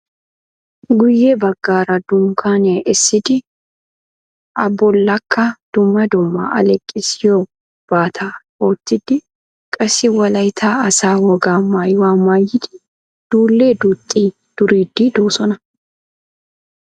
Guye baggaara dunkkanniya essidi a bollakka dumma dumma aleeqqissiyobbata oottidi qassi wolaitta asaa wogaa maayuwa maayidi dule duuxxi duriidi doosona.